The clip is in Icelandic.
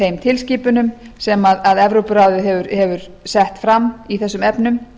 þeim tilskipunum sem evrópuráðið hefur sett fram í þessum efnum